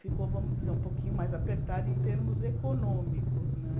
Ficou, vamos dizer, um pouquinho mais apertada em termos econômicos né.